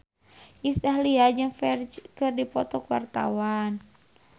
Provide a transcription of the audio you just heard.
Iis Dahlia jeung Ferdge keur dipoto ku wartawan